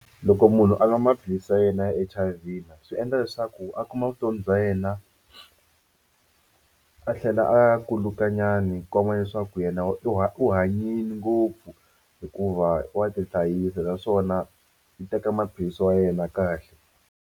Loko munhu a nwa maphilisi ya yena ya H_I_V swi endla leswaku a kuma vutomi bya yena a tlhela a kuluka nyana ku komba leswaku yena u hanyile ngopfu hikuva wa tihlayisa naswona i teka maphilisi ya yena kahle.